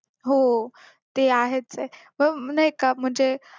हो ते आहेच ए नाहीका म्हणजे